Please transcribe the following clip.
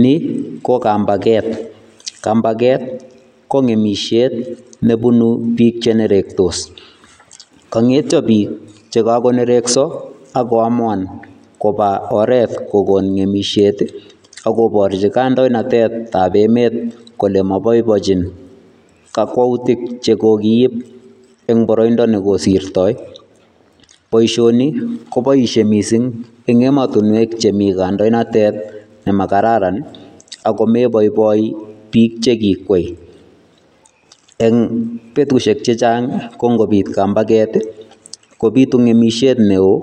Ni ko kampaket. Kampaket ko ng'emishet nebunu biik chenerektos. Kang'etyo biik chekakonerekso, ak koamuan kopa oret kokon ng'emishet, akoporchi kandoinatetap emet kole maboibochin kakwoutik chekokiip eng boroindo nekosirtoi. Boisioni kopoishe mising eng emotinwek chemi kandoinatet nemakararan, ako meboiboi biik chekikwei. Eng betushek chechang ko nkobit kampaket, kobitu ng'emishet neo